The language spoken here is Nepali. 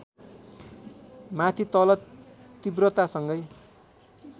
माथि तल तीव्रतासँगै